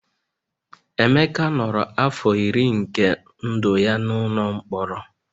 Emeka nọrọ afọ iri nke ndụ ya n'ụlọ mkpọrọ